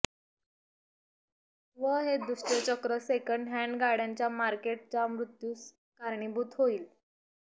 व हे दुष्टचक्र सेकंड हँड गाड्यांच्या मार्केट च्या मृत्यूस कारणीभूत होईल